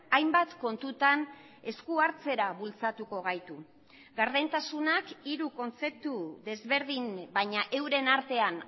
hainbat kontutan esku hartzera bultzatuko gaitu gardentasunak hiru kontzeptu desberdin baina euren artean